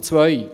Punkt 2: